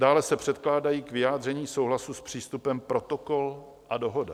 Dále se předkládají k vyjádření souhlasu s přístupem Protokol a Dohoda.